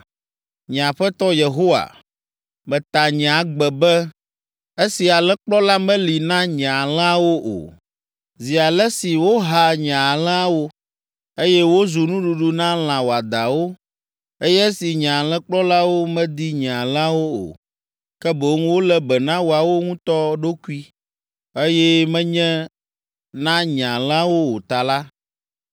‘Nye Aƒetɔ Yehowa, meta nye agbe be, esi alẽkplɔla meli na nye alẽawo o, zi ale si woha nye alẽawo, eye wozu nuɖuɖu na lã wɔadãwo, eye esi nye alẽkplɔlawo medi nye alẽawo o, ke boŋ wolé be na woawo ŋutɔ ɖokui, eye menye na nye alẽawo o ta la,